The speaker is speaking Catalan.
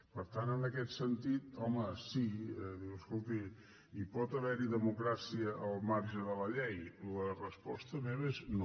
per tant en aquest sentit home sí diu escolti hi pot haver democràcia al marge de la llei la resposta meva és no